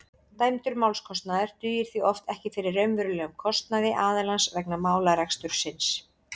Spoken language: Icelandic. dæmdur málskostnaður dugir því oft ekki fyrir raunverulegum kostnaði aðilans vegna málarekstursins